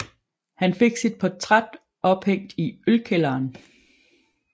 Han fik sit portræt ophængt i ølkælderen